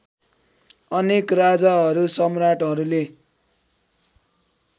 अनेक राजाहरू सम्राटहरूले